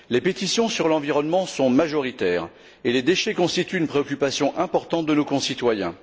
Les pétitions sur l'environnement sont majoritaires et les déchets constituent une préoccupation importante de nos concitoyens.